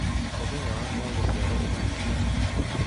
mũthenya wakwa wa gũciarwo ũgakinya rĩ